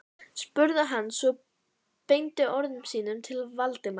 spurði hann svo og beindi orðum sínum til Valdimars.